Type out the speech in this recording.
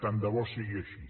tant de bo sigui així